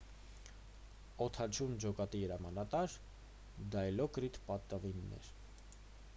օդաչուն ջոկատի հրամանատար դայլոկրիտ պատավին էր